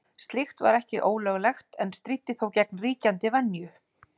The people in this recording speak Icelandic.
Slíkt var ekki ólöglegt en stríddi þó gegn ríkjandi venju.